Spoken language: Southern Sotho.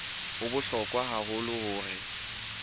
ho bohlokwa haholo hore o